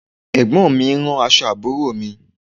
Ẹ̀gbọ́n mi ń rán aṣọ àbúrò mi